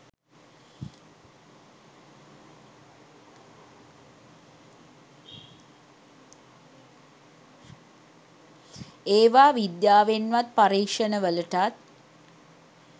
ඒවා විද්‍යාවෙන්වත් පරීක්ෂණ වලටත්